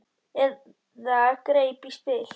Eða greip í spil.